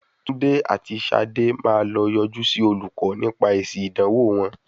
Túndé àti Ṣadé máa lọ yọjú sí olùkọ́ nípa èsì ìdánwò wọn.